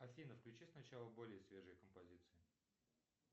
афина включи сначала более свежие композиции